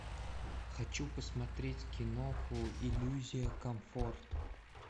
хочу посмотреть киноху иллюзия комфорта